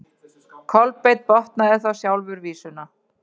Kolbeinn botnaði þá sjálfur vísuna: